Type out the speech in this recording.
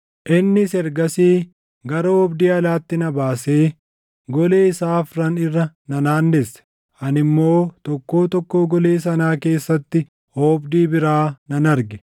Innis ergasii gara oobdii alaatti na baasee golee isaa afran irra na naannesse; ani immoo tokkoo tokkoo golee sanaa keessatti oobdii biraa nan arge.